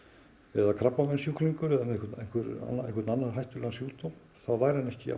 eða krabbameinssjúklingur eða með einhvern einhvern annan hættulegan sjúkdóm þá væri hann ekki